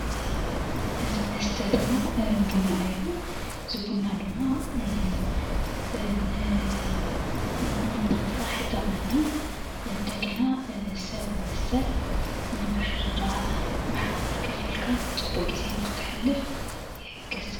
እዚ መስተ ድማ ቡና እዩ:: እዚ ቡና ድማ ን ምንቕቓሕ ይጠቕመና እንደገና ሰብ ምስ ሰብ ንምርድዳእ ብሓባር ኮፍ ኢልካ ፅቡቕ ግዜ ንክትሕልፍ ይሕግዝ::